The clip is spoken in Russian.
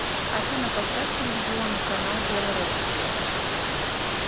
афина поставь телевизионный канал белрос